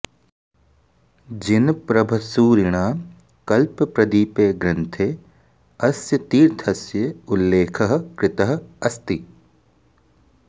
जिनप्रभसूरिणा कल्पप्रदीपे ग्रन्थे अस्य तीर्थस्य उल्लेखः कृतः अस्ति